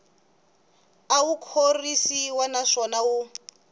a wu khorwisi naswona wu